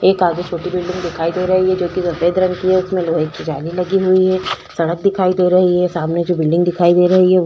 एक आगे छोटी बिल्डिंग दिखाई दे रही है जो की सफेद रंग की है उसमें लोहे की जाली लगी हुई है। सड़क दिखाई दे रही है। सामने जो बिल्डिंग दिखाई दे रही है वो--